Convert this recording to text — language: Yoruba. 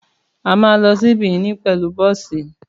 Àmá lọ sí Benin pẹlú bọ̀sí